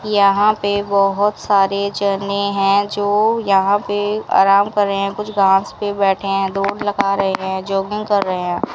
यहां पे बहुत सारे झरने हैं जो यहां पे आराम कर रहे हैं कुछ घास पे बैठे हैं धूप लगा रहे हैं जॉगिंग कर रहे हैं।